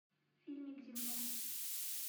фильмик земля